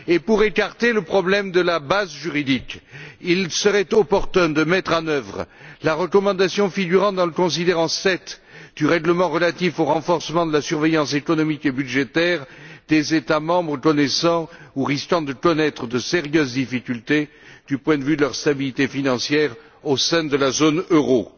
Pour écarter le problème de la base juridique, il serait opportun de mettre en œuvre la recommandation figurant dans le considérant 7 du règlement relatif au renforcement de la surveillance économique et budgétaire des États membres connaissant ou risquant de connaître de sérieuses difficultés du point de vue de leur stabilité financière au sein de la zone euro.